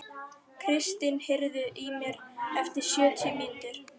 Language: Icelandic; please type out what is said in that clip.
Kristin, heyrðu í mér eftir sjötíu mínútur.